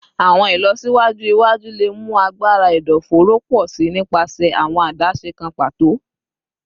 Awọn ilọsiwaju iwaju le mu agbara ẹdọfóró pọ si nipasẹ awọn adaṣe kan pato